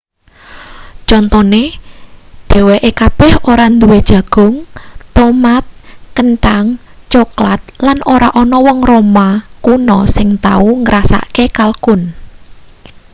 contone dheweke kabeh ora duwe jagung tomat kenthang coklat lan ora ana wong roma kuno sing tau ngrasakake kalkun